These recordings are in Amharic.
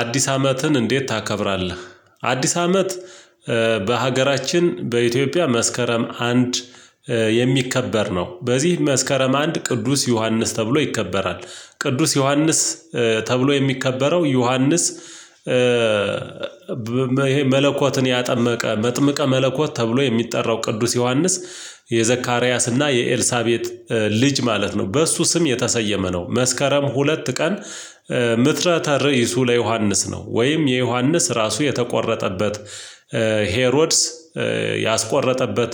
አዲስ አመትን እንዴት ታከብራለህ? አዲስ አመት በሀገራችን በኢትዮጵያ መስከረም አንድ የሚከበር ነው። በዚህ መስከረም አንድ ቅዱስ ዮሐንስ ተብሎ ይከበራል ቅዱስ ዮሐንስ ተብሎ የሚከበረው ዮሐንስ ያጠመቀ መጥምቀ መለኮት ተብሎ የሚጠራው ቅዱስ ዮሐንስ የዘካርያስና የኤልሳቤጥ ልጅ ማለት ነው። በእሱ ስም የተሰየመ ነው። መስከረም ሁለት ቀን ምትረ ተርይሱ ለዮሐንስ ነው ወይም የዮሐንስ ራሱ የተቆረጠበት ሄሮድስ ያስቆረጠበት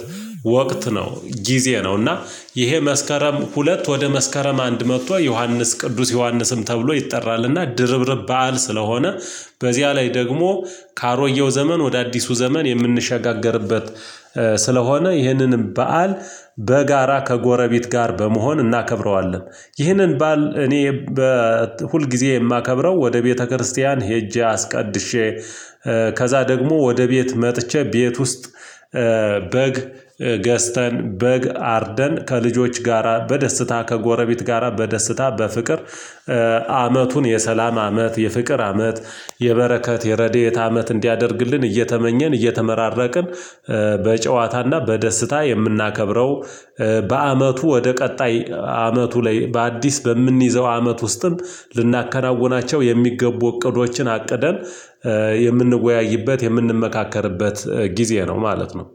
ወቅት ነው ጊዜ ነው። እና ይሄ መስከረም ሁለት ወደ መስከረም አንድ መጥቶ ዮሐንስ ቅዱስ ዮሐንስም ተብሎ ይጠራልና ድርብርብ በዓል ስለሆነ በዚያ ላይ ደግሞ ከአሮጌው ዘመን ወደ አዲሱ ዘመን የምንሸጋገርበት ስለሆነ ይህንንም በዓል በጋራ ከጎረቤት ጋር በመሆን እናከብረዋለን። ይህንን በዓል እኔ ሁልጊዜ የማከብረው ወደ ቤተክርስቲያን ሄጄ አስቀድሼ ከዛ ደግሞ ወደ ቤት መጥቼ ቤት ውስጥ በግ ገዝተን በግ አርደን ከልጆች ጋራ በደስታ ከጎረቤት ጋራ በደስታ በፍቅር። አመቱን የሰላም አመት የፍቅር አመት የበረከት የረድኤት አመት እንዲያደርግልን እየተመኘን እየተመራረቅን። በጨዋታና በደስታ የምናከብረው። በአመቱ ወደ ቀጣይ አመቱ ላይ በአዲስ በምንይዘው አመት ውስጥም ልናከናውናቸው የሚገቡ እቅዶችን አቅደን የምንወያይበት የምንመካከርበት ጊዜ ነው ማለት ነው።